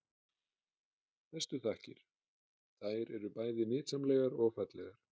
Bestu þakkir- þær eru bæði nytsamlegar og fallegar.